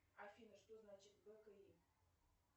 афина что значит бки